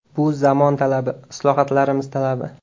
Bu zamon talabi, islohotlarimiz talabi.